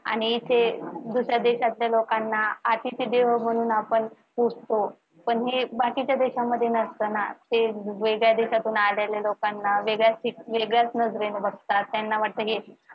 आणि इथे दुसऱ्या देशातल्या लोकांना अतिथी देवो म्हणून पुजतो पण हे बाकीच्या देशामध्ये नसत ना ते वेगळ्या देशांतुन आलेल्या लोकांना वेगळ्या वेगळ्याच नजरेनं बघतात त्यांना वाटत कि